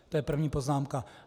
To je první poznámka.